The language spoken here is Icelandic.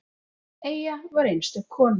Eyja var einstök kona.